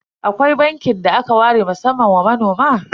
Akwai bankin da aka ware musamman wa manoma?